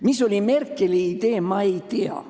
Mis oli Merkeli idee, ma ei tea.